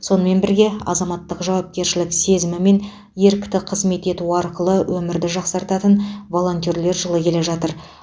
сонымен бірге азаматтық жауапкершілік сезімі мен ерікті қызмет ету арқылы өмірді жақсартатын волонтерлер жылы келе жатыр